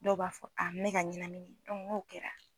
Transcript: Dɔw b'a fɔ a mɛka ɲanamini n'o kɛra